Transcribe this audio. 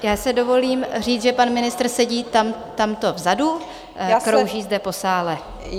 Já si dovolím říct, že pan ministr sedí tamto vzadu, krouží zde po sále.